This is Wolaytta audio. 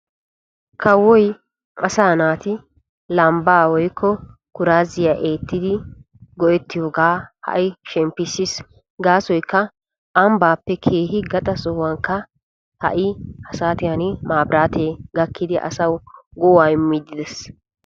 Kawoy asaa naati lambbaa wpykko kuraaziyaa eettidi go"ettiyooga ha'i shemppissiis gaasoykka ambbappe keehi gaxaa sohuwankka maabratee gakkidi keehin go"aa immidi dees.